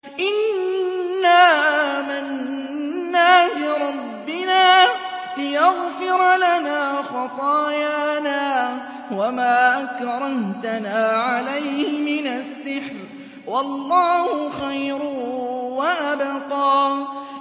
إِنَّا آمَنَّا بِرَبِّنَا لِيَغْفِرَ لَنَا خَطَايَانَا وَمَا أَكْرَهْتَنَا عَلَيْهِ مِنَ السِّحْرِ ۗ وَاللَّهُ خَيْرٌ وَأَبْقَىٰ